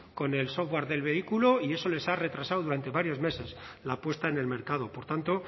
con el software del vehículo y eso les ha retrasado durante varios meses la puesta en el mercado por tanto